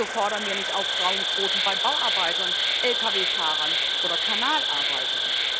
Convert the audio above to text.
Wieso fordern wir nicht auch Frauenquoten bei Bauarbeitern, LKW Fahrern oder Kanalarbeitern?